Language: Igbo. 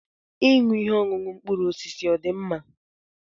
Ịṅụ ihe ọṅụṅụ mkpụrụ osisi ọ̀ dị mma?